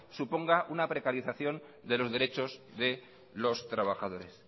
suponga una precarización de los derechos de los trabajadores